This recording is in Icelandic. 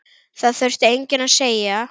Það þurfti enginn að segja